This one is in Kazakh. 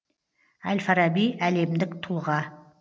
әль фараби әлемдік тұлға